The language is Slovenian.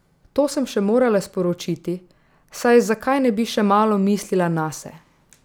To sem še morala sporočiti, saj zakaj ne bi še malo mislila nase.